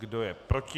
Kdo je proti?